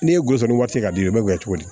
N'e ye gosi ni waati di ye i b'o kɛ cogo di